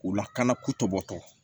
U lakana kutubɔtɔ